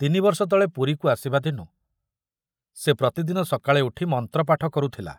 ତିନିବର୍ଷ ତଳେ ପୁରୀକୁ ଆସିବା ଦିନୁ ସେ ପ୍ରତିଦିନ ସକାଳେ ଉଠି ମନ୍ତ୍ରପାଠ କରୁଥିଲା